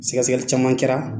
Sɛgɛsɛgɛli caman kɛra